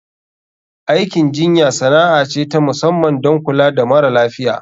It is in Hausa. Aikin jinya sana'a ce ta musamman don kula da mara lafiya.